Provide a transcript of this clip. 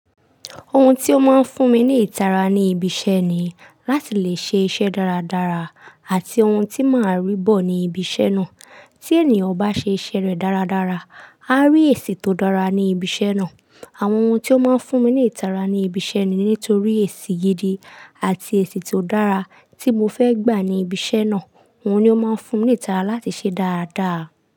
Ohun tí ó máa ń fún mi ní ìtara ní ibi iṣẹ́ ni láti lè ṣe iṣẹ́ dáradára àti ohun tí máa rí bọ̀ ní ibi iṣẹ́ náà. Tí ènìyàn bá ṣe iṣẹ́ rẹ̀ dáradára, a ri èsì tó dára ní ibi iṣẹ́ náà. Àwọn ohun tí ó máa ń fún mi ní ìtara ní ibi iṣẹ́ ni nítorí sì gidi àti èsì ti o dára tí mo fẹ́ gbà ní ibi iṣẹ́ náà. Ohun ni ó máa ń fún mi ní ìtara láti ṣe dáradára.